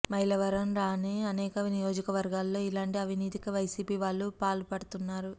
మైలవరంలానే అనేక నియోజక వర్గాలలో ఇలాంటి అవినీతికి వైసీపీ వాళ్లు పాల్పడుతున్నారు